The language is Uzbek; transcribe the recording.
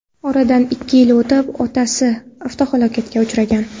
Oradan ikki yil o‘tib, otasi avtohalokatga uchragan.